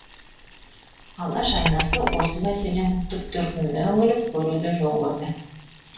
алаш айнасы осы мәселенің түп төркініне үңіліп көруді жөн көрді